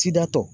Sidatɔ